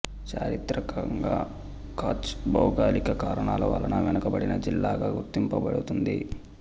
చారిత్రకంగా కచ్ భౌగోళిక కారణాల వలన వెనుకబడిన జిల్లాగా గుర్తించబడుతుంది